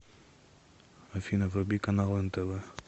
афина вруби каналы нтв